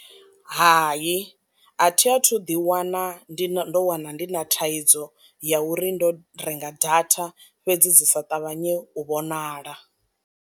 Hayi, a thi a thu ḓi wana ndi ndo wana ndi na thaidzo ya uri ndo renga data fhedzi dzi sa ṱavhanye u vhonala.